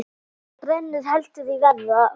Þá bregður heldur í verra.